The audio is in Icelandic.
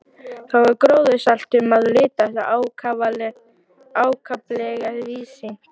Þar var gróðursælt um að litast og ákaflega víðsýnt.